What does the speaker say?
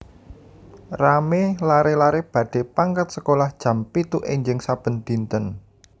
Rame lare lare badhe pangkat sekolah jam pitu enjing saben dinten